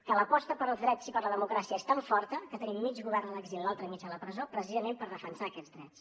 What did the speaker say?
que l’aposta pels drets i per la democràcia és tan forta que tenim mig govern a l’exili i l’altre mig a la presó precisament per defensar aquests drets